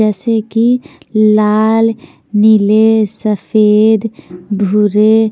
जैसे कि लाल नीले सफ़ेद भूरे --